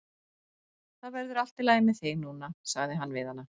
Það verður allt í lagi með þig núna sagði hann við hana.